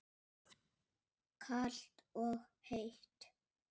Kalt og heitt.